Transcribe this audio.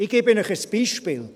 Ich gebe Ihnen ein Beispiel: